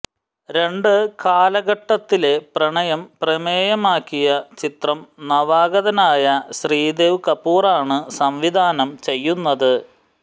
രണ്ട് കാലഘട്ടത്തിലെ പ്രണയം പ്രമേയമാക്കിയ ചിത്രം നവാഗതനായ ശ്രീദേവ് കപൂറാണ് സംവിധാനം ചെയ്യുന്നത്